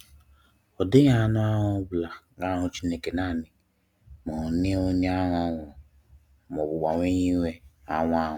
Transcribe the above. Ọ dighi anụ ahụ ọ bula ga ahụ Chineke nani ma onye onye ahụ Ọ nwụrụ ma ọbụ gbanwe yiwe anwụ anwụ.